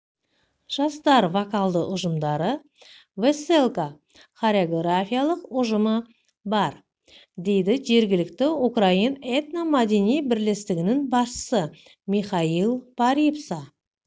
жастар вокалды ұжымдары вэсэлка хореографиялық ұжымы бар дейді жергілікті украин этно-мәдени бірлестігінің басшысы михаил парипса